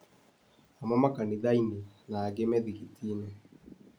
Amwe makanithai-nĩna angĩ mĩthigiti-nĩ.